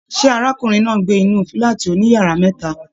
Ṣe arákùnrin náà n gbé inú fúlàátí òní yàrá mẹta?